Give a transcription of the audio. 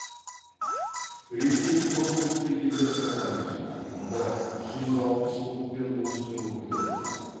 ресей көпұлтты елдер қатарына жатады мұнда жүз алпыс ұлт пен ұлыстың өкілдері тұрады